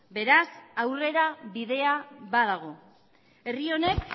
beraz aurrera bidea badago herri honek